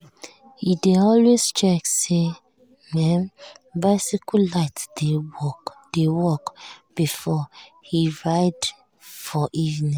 e dey always check say um him um bicycle light dey work before e ride for evening.